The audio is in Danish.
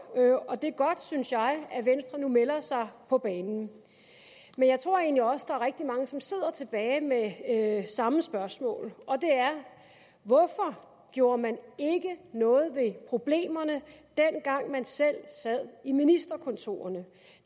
og det er godt synes jeg at venstre nu melder sig på banen men jeg tror egentlig også der er rigtig mange som sidder tilbage med samme spørgsmål og det er hvorfor gjorde man ikke noget ved problemerne dengang man selv sad i ministerkontorerne